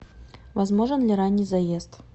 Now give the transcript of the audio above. возможен ли ранний заезд